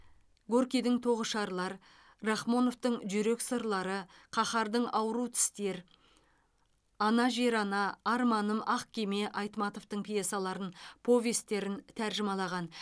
горкийдің тоғышарлар рахмоновтың жүрек сырлары қаһардың ауру тістер ана жер ана арманым ақ кеме айтматовтың пьесаларын повестерін тәржімалаған